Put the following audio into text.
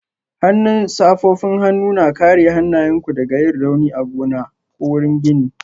Hannun safofin hannu na kare hannayenku daga yin rauni a gona ko wurin gini